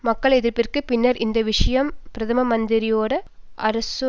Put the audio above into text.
மக்கள் எதிர்ப்பிற்கு பின்னர் இந்த விஷயம் பிரதம மந்திரி டாரா அசோ